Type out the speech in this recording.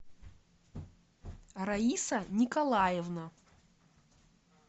раиса николаевна